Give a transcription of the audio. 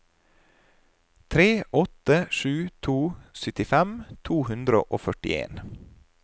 tre åtte sju to syttifem to hundre og førtien